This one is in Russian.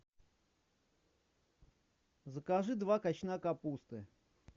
закажи два качана капусты